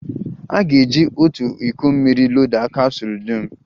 A ga-eji otu iko mmiri loda kapsụl dum.